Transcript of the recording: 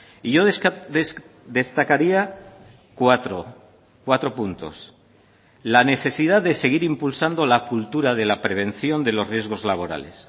y yo destacaría cuatro cuatro puntos la necesidad de seguir impulsando la cultura de la prevención de los riesgos laborales